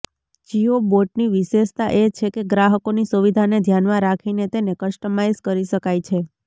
જિઓ બોટની વિશેષતા એ છે કે ગ્રાહકોની સુવિધાને ધ્યાનમાં રાખીને તેને કસ્ટમાઇઝ કરી શકાય છે